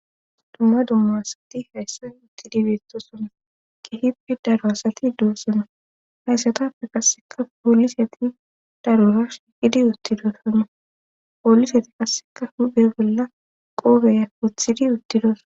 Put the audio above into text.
dumma dumma asati hayssan uttidibeettosona kihippi daro asati doossana hayssatafe qasseka poolisati darora shiqidi uttidosana poolisati qasseka hupe bolla qoobeya uthidi uttidosa